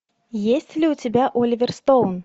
есть ли у тебя оливер стоун